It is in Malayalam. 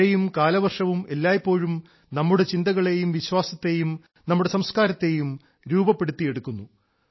മഴയും കാലവർഷവും എല്ലായ്പ്പോഴും നമ്മുടെ ചിന്തകളെയും വിശ്വാസത്തെയും നമ്മുടെ സംസ്കാരത്തെയും രൂപപ്പെടുത്തിയെടുക്കുന്നു